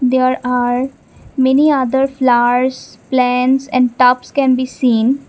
there are many other flowers plants and tops can be seen.